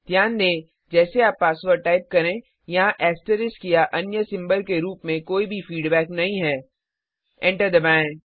ध्यान दें जैसे आप पासवर्ड टाइप करें यहाँ एस्टेरिस्क या अन्य सिम्बल के रूप में कोई भी फीडबैक नहीं है एंटर दबाएं